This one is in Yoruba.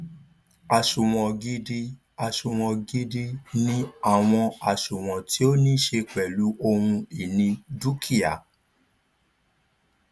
àsunwon gidi àsunwon gidi ni àwọn àsunwon tí ó ní ṣe pèlú ohun ìní dúkìá